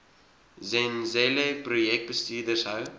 zenzele projekbestuurders hou